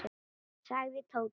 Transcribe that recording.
sagði Tóti.